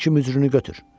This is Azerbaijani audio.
Bu iki mücrünü götür.